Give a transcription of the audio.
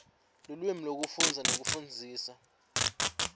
lulwimi lwekufundza nekufundzisa